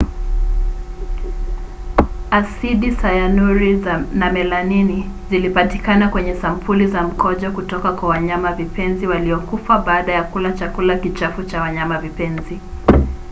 asidi sayanuri na melanini zilipatikana kwenye sampuli za mkojo kutoka kwa wanyamavipenzi waliokufa baada ya kula chakula kichafu cha wanyamavipenzi